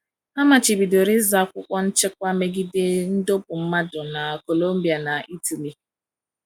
A machibidoro ịzụ akwụkwọ nchekwa megide ịdọkpụ mmadụ na Colombia na Italy.